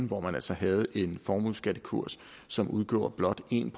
hvor man altså havde en formueskattekurs som udgjorde blot 1‰